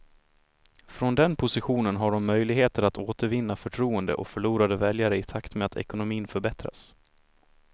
Från den positionen har de möjligheter att återvinna förtroende och förlorade väljare i takt med att ekonomin förbättras.